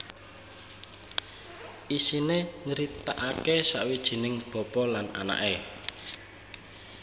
Isiné nyritakaké sawijining bapa lan anaké